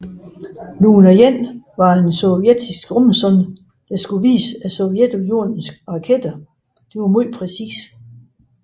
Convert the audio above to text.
Luna 1 var en sovjetisk rumsonde der skulle vise at Sovjetunionens raketter var meget præcise